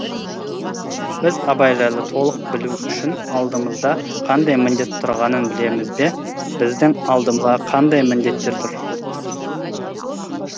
біз абай жайлы толық білу үшін алдымызда қандай міндет тұрғанын білеміз бе біздің алдымызда қандай міндеттер тұр